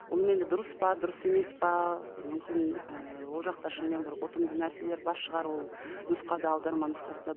бұным енді дұрыс па дұрыс емес пе мүмкін ііі ол жақта шынымен бір ұтымды нәрселер бар шығар ол нұсқада аударма нұсқасында